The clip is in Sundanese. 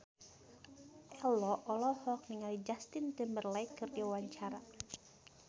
Ello olohok ningali Justin Timberlake keur diwawancara